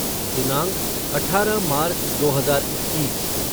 दिनांक अठारह मार्च दो हजार इक्कीस